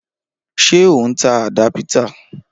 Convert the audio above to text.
Ṣé o n ta àdápítà?